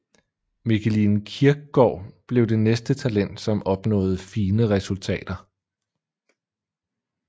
Mikkeline Kierkgaard blev det næste talent som opnåede fine resultater